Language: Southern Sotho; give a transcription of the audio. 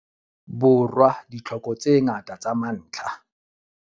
Borwa ditlhoko tse ngata tsa mantlha.